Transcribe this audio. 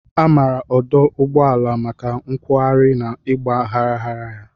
A maara ọdụ ụgbọala maka nkwogharị na ịgba gharaghara ha.